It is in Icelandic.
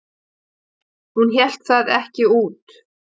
Hún hélt það ekki út!